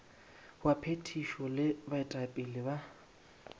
wa phethišo le baetapele ba